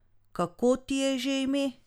Kako ti je že ime?